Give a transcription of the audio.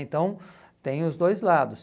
Então tem os dois lados.